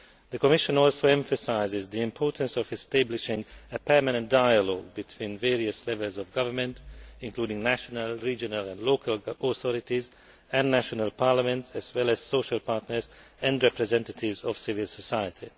The Commission also emphasises the importance of establishing a permanent dialogue between various levels of government, including national, regional and local authorities and national parliaments, as well as social partners and representatives of civil society.